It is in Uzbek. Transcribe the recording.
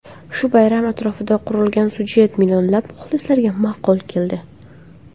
Shu bayram atrofiga qurilgan sujet millionlab muxlislarga ma’qul keldi.